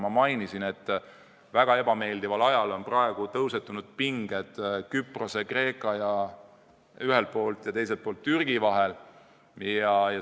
Ma mainisin, et väga ebameeldival ajal on praegu tõusetunud pinged ühelt poolt Küprose Kreeka ja teiselt poolt Türgi vahel.